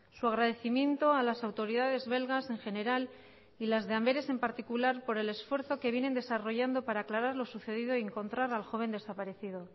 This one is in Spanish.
su agradecimiento a las autoridades belgas en general y las de amberes en particular por el esfuerzo que vienen desarrollando para aclarar lo sucedido y encontrar al joven desaparecido